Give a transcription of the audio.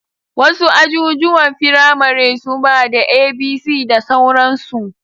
Wasu ajijuwan firamare suba da A,B,C da sauransu